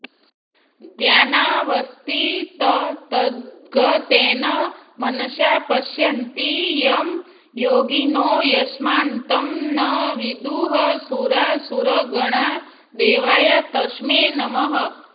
ध्यानावस्थिततद्गतेन मनसा पश्यन्ति यं योगिनो यस्यान्तं न विदुः सुरासुरगणा देवाय तस्मै नमः